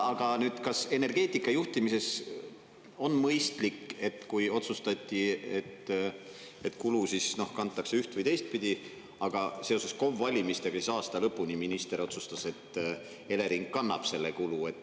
Aga kas energeetika juhtimises on mõistlik, et kui otsustati, et kulu kantakse üht- või teistpidi, siis seoses KOV-valimistega aasta lõpuni minister otsustas, et Elering kannab selle kulu?